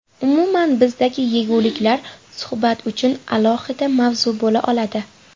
Umuman bizdagi yeguliklar suhbat uchun alohida mavzu bo‘la oladi.